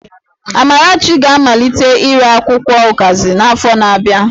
Amarachi ga-amalite ire akwụkwọ ụkazi n'afọ na-abịa